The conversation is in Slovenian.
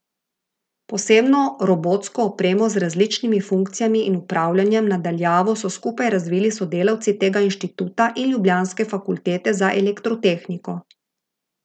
Posebno robotsko opremo z različnimi funkcijami in upravljanjem na daljavo so skupaj razvili sodelavci tega inštituta in ljubljanske fakultete za elektrotehniko.